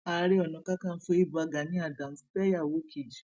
ààrẹ onakàkànfọ ibà gani adams fẹyàwó kejì